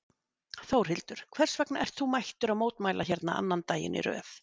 Þórhildur: Hvers vegna ert þú mættur að mótmæla hérna annan daginn í röð?